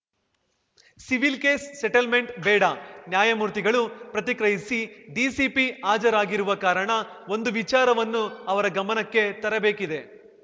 civil case settlement ಬೇಡ ನ್ಯಾಮೂರ್ತಿಗಳು ಪ್ರತಿಕ್ರಿಯಿಸಿ ಡಿಸಿಪಿ ಹಾಜರಾಗಿರುವ ಕಾರಣ ಒಂದು ವಿಚಾರವನ್ನು ಅವರ ಗಮನಕ್ಕೆ ತರಬೇಕಿದೆ